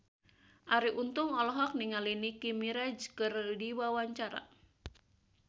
Arie Untung olohok ningali Nicky Minaj keur diwawancara